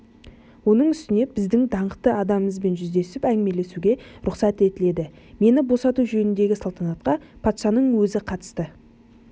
оның үстіне біздің даңқты адамымызбен жүздесіп әңгімелесуге рұқсат етіледі мені босату жөніндегі салтанатқа патшаның өзі қатынасты